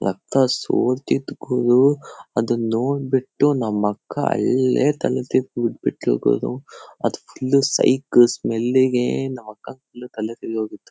ರಕ್ತ ಸೋರ್ತಿತ್ ಗುರು ಅದನ್ ನೋಡ್ಬಿಟ್ಟ ನಮ್ ಅಕ್ಕ ಅಲ್ಲೇ ತಲೆ ತಿರ್ಗ್ ಬಿದ್ಬಿಟ್ಲು ಗುರು. ಅದು ಫುಲ್ ಸೈಕ್ ಸ್ಮೆಲ್ಲಿಗೆ ನಮ್ ಅಕ್ಕಗ್ ಫುಲ್ ತಲೆ ತಿರ್ಗೋಗಿತ್ತು.